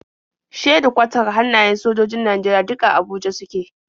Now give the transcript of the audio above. Shedikwatar hannayen sojojojin Najeriya duk a Abuja suke.